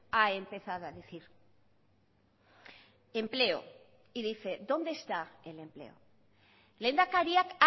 ha empezado a decir empleo y dice dónde está el empleo lehendakariak